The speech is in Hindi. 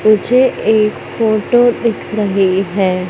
मुझे एक फोटो दिख रही है।